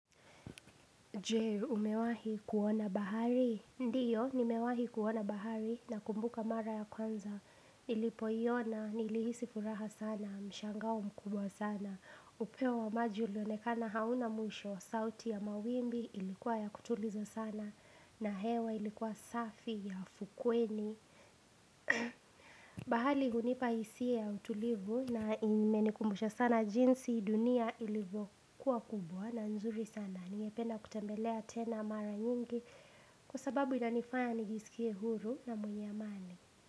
Jee umewahi kuona bahari Ndiyo nimewahi kuona bahari na kumbuka mara ya kwanza Nilipo iona nilihisi furaha sana Mshanga mkubwa sana upeo wa maji ulionekana hauna musho sauti ya mawimbi ilikuwa ya kutuliza sana na hewa ilikuwa safi ya ukweni Bahali hunipa hisia utulivu na imenikumbusha sana jinsi dunia ilivyokuwa kubwa na nzuri sana Ningependa kutembelea tena mara nyingi Kwa sababu inanifanya nijisikie huru na mwenye amani.